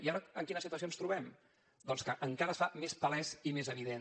i ara en quina situació ens trobem doncs que encara es fa més palès i més evident